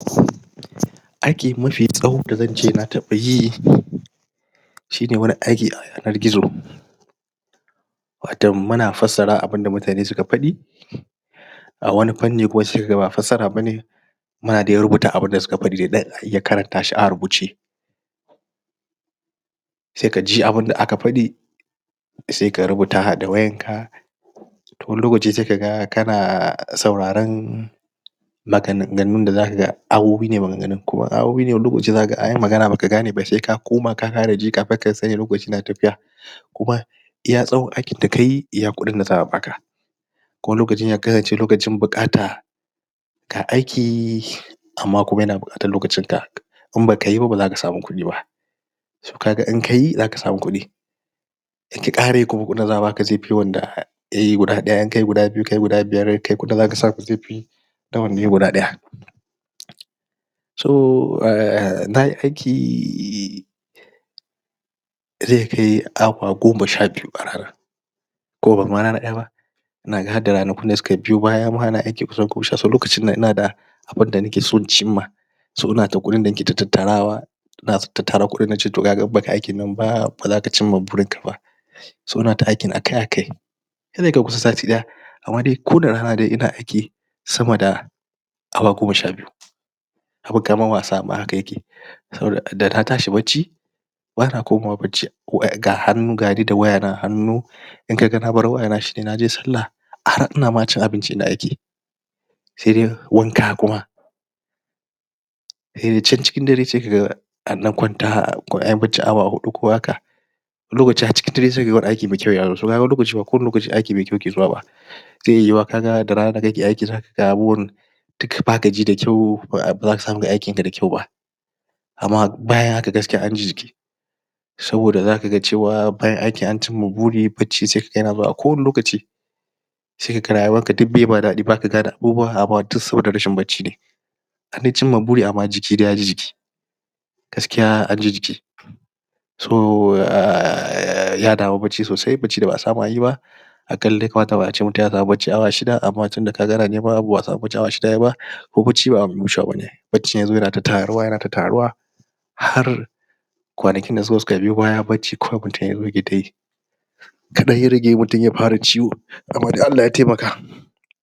Aiki mafi tsawo da zance nataba yi! Shine wani aiki a yanar gizo Watam muna fassara abunda mutane suka fadi Ah wani panni kuma saikaga ba fassara bane, Muna dai rubuta abunda suka fadi Haiya karanta shi a rubuce Sai kaji abunda aka fadi Sai ka rubuta da wayanka To wani lokaci sai kaga kana.. sauraren..... maganganun wani lokaci zakaga anyi magana baka gane ba saika Koma ka kara ji kamin ka lokaci na tafiya Kuma Iya tsawon aikin dakayi iya kudin da za'a baka Kuma wani lokaci kana cikin buƙata Ga aiki... Amma kuma yana buƙatar lokacin ka Imbaka yiba bazaka samu kudi ba So kaga in kayi zaka samu kudi Ink ka karayi kuma kudin za'a baka zaifi yawan da kayi guda daya kayi guda biyu kayi guda biyar kai kudin da zaka samu zaifi Da wanda yayi guda daya So umm nayi aiki.... zaikai awa goma sha biyu a rana Ko bama rana daya ba, Inaga hadda ranakun da suka biyo bayama nayi aiki lokacin da Abunda nake son cinma S o inada kudin da nake tattarawa Ina ta tattara kudin nace toh kaga inbaka aikin nan ba bazaka cinma gurinka ba S o inata aikin akai akai sati daya Amma ni kuda a rana daya ina aiki Sama da Awa goma sha biyu Abun kaman wasa ma haka yake Sauda dana tashi bacci Bana komawa bacci waya, ga hannu gani da waya na a hannu Inkaga nabar wayana shine naje sallah Ah har ina cin abinci ma ina aiki Saidai wanka kuma um can cikin dare sai kaga An dan kwanta anyi barcin awa hudu haka Wani lokacin har cikin daren sai kaga aiki muke wani lokaci ba kowane aiki mai kwau ke suwa ba Zai'iya yuwa kaga da rana kake aiki zakaga abun Duka baka ji da kwau bazaka samu kayi aikin ka da kwau ba Amma bayan haka gaskiya anji jiki Saboda za kaga cewa bayan aikin an cinma guri bacci sai kaga yana zuwa a kowane lokaci Sai kaga rayuwarka duk baima dadi baka gane abubuwa duk saboda rashin bacci Andai cinma guri amma dai jiki yaji jiki Gaskiya anji jiki So ummm......... Yada bacci sosai, bacci da ba'a samu anyi ba A ƙalla ya kamata ba ace mutum ya samu bacci awa shida amma tunda kaga ana neman Kuma bacci ba abun wucewa bane Baccin yazo yana ta tarowa yana ta tarowa Har kwanakin da suka zo suka biyo baya bacci kawai mutum yake Kadan ya rage mutum ya fara ciwo Amma dai Allah ya taimaka